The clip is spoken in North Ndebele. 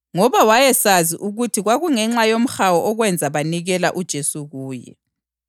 Ngoba wayesazi ukuthi kwakungenxa yomhawu okwenza banikela uJesu kuye.